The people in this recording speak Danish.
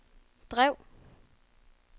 drev